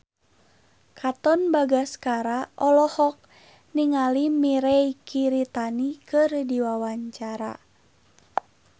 Katon Bagaskara olohok ningali Mirei Kiritani keur diwawancara